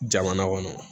Jamana kɔnɔ